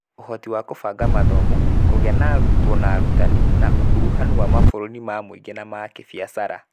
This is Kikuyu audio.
Ũhoti wa kũbanga mathomo, kũgĩa na arutwo na arutani, na ũkuruhanu na mabũrũri ma mũingĩ na ma kĩbiacara.